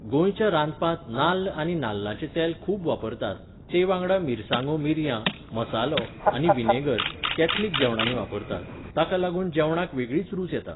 गोंयच्या रांदपांत नाल्ल आनी नाल्लाचें तेल खूब वापरतात, तेवांगडा मिरसांगो मिरयां, मसालो, आनी व्हिनेगर, कॅथलिक जेवणांनी वापरतात, ताका लागून जेवणाक वेगळीच रूच येता.